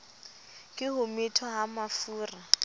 ke ho methwa ha mafura